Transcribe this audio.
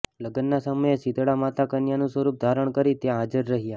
લગ્નના સમયે શીતળા માતા કન્યાનું સ્વરૂપ ધારણ કરી ત્યાં હાજર રહયા